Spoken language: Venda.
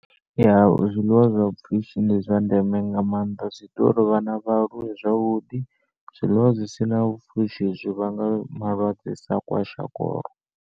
Ya zwiḽiwa zwa pfushi ndi zwa ndeme nga maanḓa zwi ita uri vhana vha aluwe zwavhuḓi. Zwiḽiwa zwisina pfushi zwi vhanga malwadze sa kwashikoro.